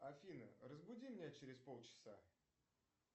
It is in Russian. афина разбуди меня через полчаса